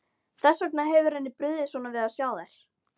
Þess vegna hefur henni brugðið svona við að sjá þær.